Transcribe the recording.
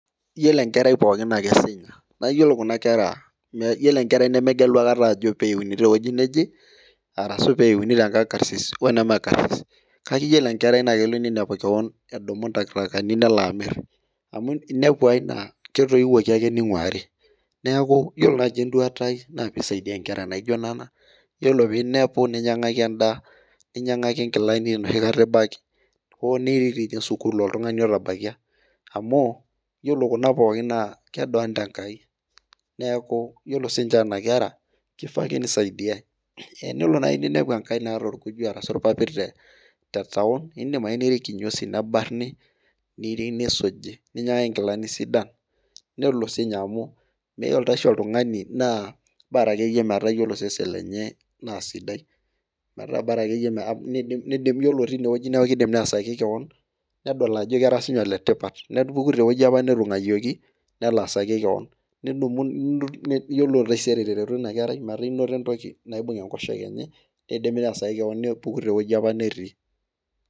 Iyiolo enkerai pookin naa kesinya, iyiolo enkerai nemegelu aikata ajo peeyuni tewueji neje, arshu pee etumi tenkang karsis, weneme karsis, kake iyiolo enkerai kelo ninepu keon edumu ntakitakani nelo amir. Neeku iyiolo naji eduata ai naa pee isaidia nkera naijo Nena, iyiolo pee inepu ninyiangaki edaa, ninyiangaki nkilani enoshi kata, hoo nirik dii ninye sukuul oltungani otabaikia, amu, iyiolo Kuna pookin naa kedoolta Enkai. neeku iyiolo sii ninche nena kera, kifaa ake nisaidiae .. tenelo naji ninepu enkae naata olkuju arashu ilpapit, tetaon, idim ake nirik kinyosi nebarni, nisuji, ninyiangaki nkilani sidan, nelo sii ninye amu iyiolo oshi oltungani naa Bora akeyie, osesen lenye naa sidai. iyiolo tine wueji neeku kidim neesaki kewon. Nedol ajo kera sii ninye ole tipat, nepik te wueji apa netunguayieokii. Anaa sai ilo, iyiolo taisere metaa inoto entoki naibung enkoshoke , enye, nidim neesaki kewon nepuku te wueji apa netii. Iyiolo enkerai pookin naa kesinya. Iyiolo enkerai nemegelu aikata, ajo peeyuni te wueji neje, arashu peeyuni, tenkang karsisi oneme karsisi. Kake iyiolo ninepu kewon, edumu ntakitakani nelo amir. Amu inepu ae naa, ketoiwuoki ake ningurari. Neeku iyiolo naji eduata ai. naa pee isaidia nkera naijo Nena. Iyiolo, peeinepi ninyiangaki edaa. ninyiamgaki nkilani enoshi kata , ibaki, hoo nirik doi ninye sukuul oltungani otabaikia. amu iyiolo Kuna pookin naa kedoolta Enkai. neeku iyiolo sii ninche nena kera, kifaa ake nisaidiae. Tenelo naaji ninepu enkae nirki kinyosi nebarni. ninyiangaki nkilani. nedol ajo kera sii ninye ole tipat. nepuku te wueji apa netii.